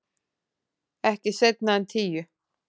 Ekki seinna en tíu.